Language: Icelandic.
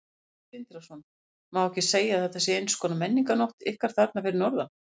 Sindri Sindrason: Má ekki segja að þetta sé eins konar menningarnótt ykkar þarna fyrir norðan?